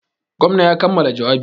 Gwamna ya kammala jawabi.